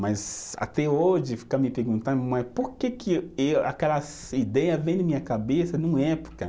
Mas até hoje fica me perguntando, mas por que que eh, aquelas ideia vem na minha cabeça numa época?